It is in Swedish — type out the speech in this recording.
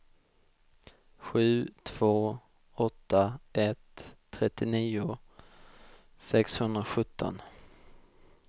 sju två åtta ett trettionio sexhundrasjutton